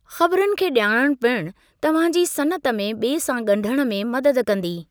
ख़बरुनि खे ॼाणणु पिणु तव्हां जी सनअत में ॿिए सां ॻंढणु में मदद कंदी।